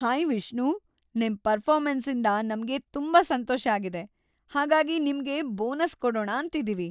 Hi Vishnu, ನಿಮ್ ಪರ್ಫಾರ್ಮೆನ್ಸಿಂದ ನಮ್ಗೆ ತುಂಬಾ ಸಂತೋಷ ಆಗಿದೆ, ಹಾಗಾಗಿ ನಿಮ್ಗೆ ಬೋನಸ್ ಕೊಡೋಣ ಅಂತಿದೀವಿ.